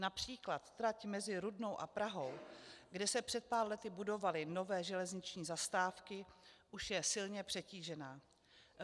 Například trať mezi Rudnou a Prahou, kde se před pár lety budovaly nové železniční zastávky, už je silně přetížená.